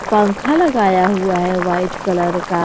पंखा लगाया हुआ है व्हाइट कलर का।